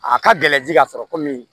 A ka gɛlɛn ji ka sɔrɔ komi